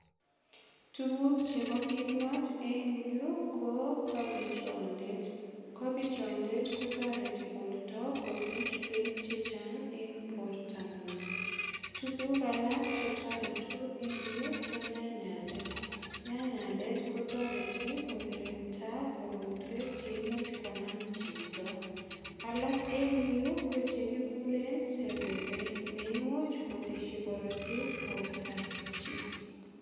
Tuguk chebo kimnot eng yu ko kapichondet. Kapichondet kotoreti borto kosich beek che chang en bortangung. Tuguk alak che toretu eng yu ko nyanyandet. Nyanyandet kotoreti ko kirinda korotwek che imuch konam chito. Alak en yu ko che kikuren sepepe neimuch kotesyi korotik bortab chi.